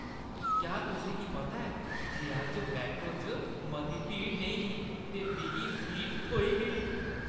क्या तुसें गी पता ऐ जे अज्ज मैट्रो च मती भीड़ नेईं ही ते मिगी सीट थ्होई गेई?